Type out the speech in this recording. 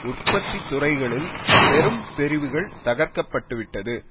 உற்பத்தி துறைகளில் பெரும் பிரிவுகள் தகர்க்கப்பட்டுவிட்டது